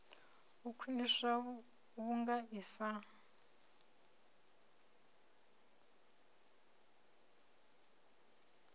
u khwiniswa vhunga i sa